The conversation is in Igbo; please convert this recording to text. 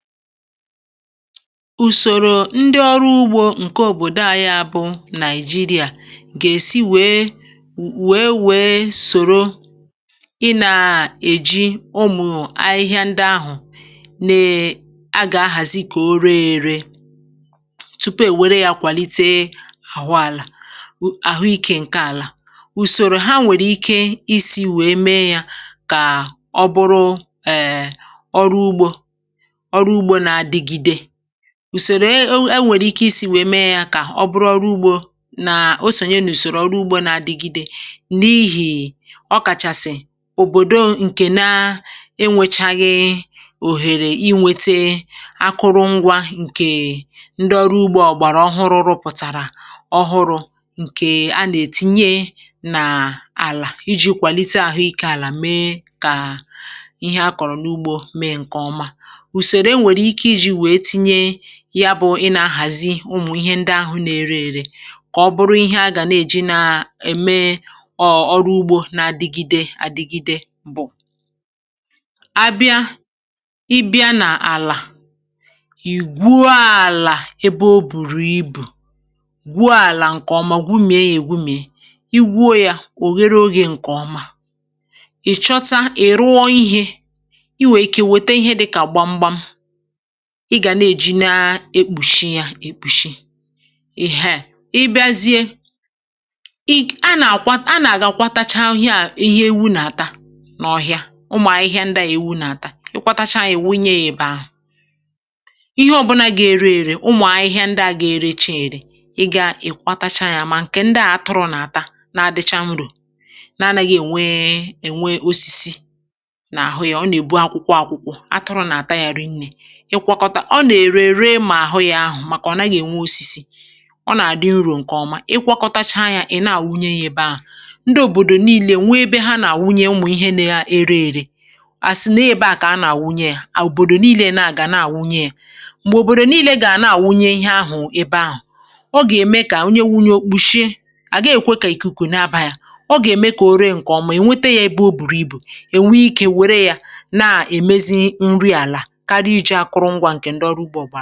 Ùsòrò ndị ọrụ ugbȯ ǹke òbòdo anyị, bụ̀ Nàịjìrìà, gà-èsi wèe, wèe, wèe sòro ị nà-èji ụmụ̀ ahịhịa ndị ahụ̀ na-è… a gà-ahàzì kà o ree èrè tupu è wèrè yà kwàlite àhụ àlà, àhụ ikė ǹke àlà. Ùsòrò ha nwèrè ikè isi̇ wèe mee yà kà ọ bụrụ ẹ̀ nọ ebugbo. Ùsòrò e nwèrè ikè isi̇ wèe mee yà kà ọ bụrụ ọrụ ugbȯ nà o sònyè nà ùsòrò ọrụ ugbȯ na-adịgide, n’ihi nà ọ kàchàsị̀ òbòdo ǹkè na-enwėchaghị òhèrè inwete akụrụngwȧ.ǹkè ndị ọrụ ugbȯ ọ̀gbàrà ọhụrụ̇ rụpụ̀tàrà ọhụrụ̇ um, ǹkè a nà-ètinye nà àlà iji̇ kwàlite àhụ ikè àlà, mee kà ihe a kọ̀rọ̀ n’ugbȯ mee ǹkè ọma. Yà bụ̀, ị nà-ahàzị ụmụ̀ ihe ndị ahụ̇ na-ere èrè, ka ọ bụrụ ihe a gà na-èji na-ème ọ̀rụ ugbȯ na-adịgide adịgide. Bụ̀ a bịa, ị bịa n’àlà, ì gwùo àlà ebe o bùrù ibù gwuo àlà ǹkè ọma, gwumìe yà, ègwumìe. Ị gwuo yà, ò ghere ogè ǹkè ọma um, ị̀ chọta, ị̀ rụọ ihe i nwèrè ikè, wète ihe dịkà gbamgbȧ, ị gà na-èji na-ekpùshi yà, èkpùshi. Ì haà, ị bịazie, ì nà-àkwa, nà-àgakwatacha ahụ̀, ihe ȧ… ihe èwù nà-àta n’ọhịa. Ụmụ̀ ahịhịa ndị à, èwù nà-àta, ìkwàtacha à, èwunye ị̀bà ahụ̀, ihe ọbụlà ga-eru èrè, ụmụ̀ ahịhịa ndị à ga-ere, èchè èri. Ị gà ìkwàtacha ya. Ma ǹkè ndị à, atụrụ̇ nà-àta, na-adịchà nwurù̇, na-ana gị ènwe ènwe osisi n’àhụ ya, ọ nà-èbu akwụkwọ akwụkwọ. Atụrụ nà-àta ya, rinnė, ọ nà-èri èrè. Mà àhụ yà, ahụ̀, màkà ọ̀ nàghị̇ ènwe osisi um, ọ nà-àdị nrò.ǹkè ọma, ị kwọkọtacha ya, ị̀ na-àwụnye yà ebe ahụ̀. Ndị òbòdò niile nwee ebe ha nà-àwụnye ụmụ̀ ihe na-ere èrè. À sị nà ebe à kà a nà-àwụnye ya, à òbòdò niile nàà gà na-àwụnye ya. M̀gbè òbòdò niile gà-à na-àwụnye ihe ahụ̀ ebe ahụ̀ um, ọ gà-ème kà àwụnye wunye òkpùshie. À gà-èkwekè ìkùkù na-aba yà, ọ gà-ème kà òre ǹkè ọma, ènwete yà. Ebe o bùrù ibù, ènwee ikè wère yà, na-èmezi nri àlà, ǹkè ndọrọ ugbȯ gba nà.